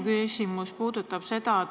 Aitäh!